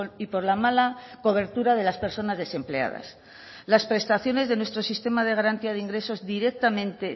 y por la mala cobertura de las personas desempleadas las prestaciones de nuestro sistema de garantía de ingresos directamente